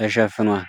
ተሸፍኗል።